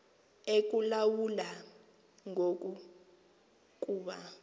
ekulawula ngoku kuba